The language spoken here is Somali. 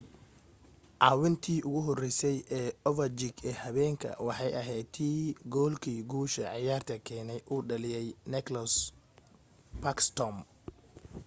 caawintii ugu horeysay ee overchkin ee habeenka waxay ahayd tii goolkii guusha ciyaarta keenay uu dhaliyay nicklas backsrtom